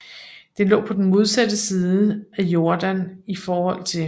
Denne lå på den modsatte side af Jordan ift